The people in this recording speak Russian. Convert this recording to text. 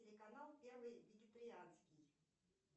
телеканал первый вегетарианский